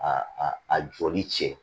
A a jɔli cɛ